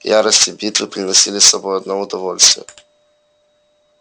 ярость и битвы приносили с собой одно удовольствие